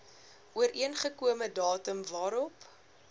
ooreengekome datum waarop